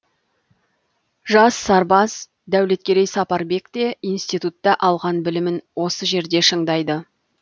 жас сарбаз дәулеткерей сапарбек те институтта алған білімін осы жерде шыңдайды